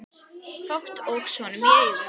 Fátt óx honum í augum.